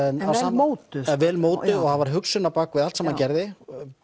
mótuð já vel mótuð og það var hugsun á bak við allt sem hann gerði